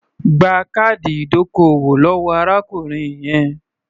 Gba káàdì ìdókòwò lọ́wọ́ arákùnrin yẹn.